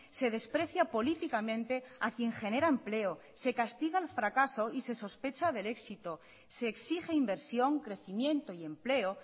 se desprecia políticamente a quien genera empleo se castiga el fracaso y se sospecha del éxito se exige inversión crecimiento y empleo